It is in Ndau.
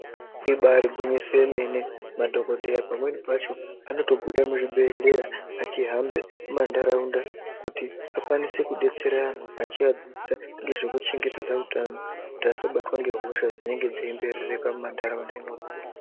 Ibaari gwinyiso yemene madhokodheya pamweni pacho anotobude muzvibhedhlera echihambe mumantaraunda kuti akwanise kudetsere antu achiadzidza ngezvekuchengetedze utano kuti asabatwe ngehosha dzinonga dzeimberereka mumantaraunda imwonamwo.